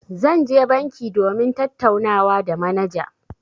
Zan je banki domin tattaunawa da manaja.